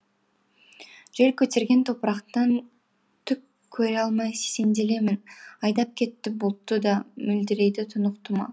жел көтерген топырақтан түк көре алмай сенделемін айдап кетті бұлтты да мөлдірейді тұнық тұма